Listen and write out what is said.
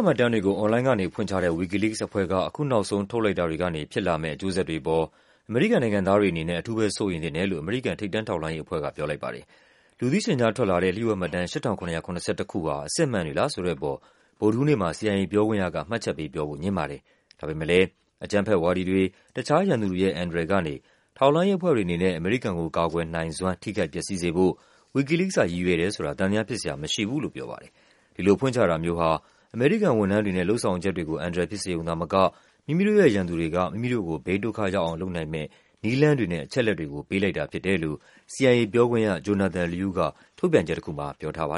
မှတ်တမ်းတွေကို အွန်လိုင်းကနေဖွင့်ချတဲ့ Wikileaks အဖွဲ့က အခုနောက်ဆုံး ထုတ်လိုက်တာတွေကနေ ဖြစ်လာမယ့် အကျိုးဆက်တွေအပေါ် အမေရိကန်နိုင်ငံသားတွေအနေနဲ့ အထူးပဲ စိုးရိမ်သင့်တယ်လို့ အမေရိကန် ထိပ်တန်း ထောက်လှမ်းရေး အဖွဲ့က ပြောလိုက်ပါတယ်။ လူသိရှင်ကြားထွက်လာတဲ့ လျှို့ဝှက်မှတ်တမ်း ၈၇၇၁ ဟာ အစစ်အမှန်တွေလားဆိုတဲ့အပေါ် ဗုဒ္ဓဟူးနေ့မှာ CIA ပြောခွင့်ရက မှတ်ချက်ပေးပြောဖို့ ငြင်းပါတယ်။ ဒါပေမဲ့လဲ အကြမ်းဖက်ဝါဒီတွေ၊ တခြားရန်သူတွေရဲ့ အန္တရာယ်ကနေ ထောက်လှမ်းရေးအဖွဲ့ တွေအနေနဲ့ အမေရိကန်ကို ကာကွယ်နိုင်စွမ်း ထိခိုက်ပျက်စီးစေဖို့ Wikileaks က ရည်ရွယ်တယ်ဆိုတာ သံသယဖြစ်စရာ မရှိဘူး လို့ပြောပါတယ်။ ဒီလိုဖွင့်ချတာမျိုးဟာ အမေရိကန် ဝန်ထမ်းတွေနဲ့ လုပ်ဆောင်ချက်တွေကို အန္တရာယ်ဖြစ်စေရုံသာမက မိမိတို့ရဲ့ ရန်သူတွေက မိမိ တို့ကို ဘေးဒုက္ခရောက်အောင် လုပ်နိုင်မယ့် နည်းလမ်းတွေနဲ့ အချက်အလက်တွေကို ပေးလိုက်တာဖြစ်တယ်လို့ CIA ပြောခွင့်ရ Jonathan Liu က ထုတ်ပြန်ချက်တခုမှာ ပြောထားပါ